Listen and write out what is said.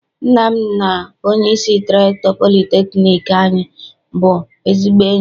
Nna m na onyeisi rektọ politekniik anyị bụ ezigbo enyi.